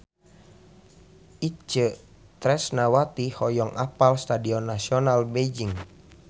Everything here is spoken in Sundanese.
Itje Tresnawati hoyong apal Stadion Nasional Beijing